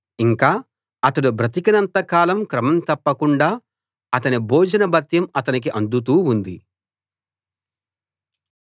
ఇంకా అతడు బ్రతికినంత కాలం క్రమం తప్పకుండా అతని భోజన భత్యం అతనికి అందుతూ ఉంది